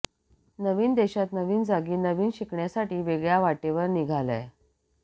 नवीन देशात नवीन जागी नवीन शिकण्यासाठी वेगळ्या वाटेवर निघालाय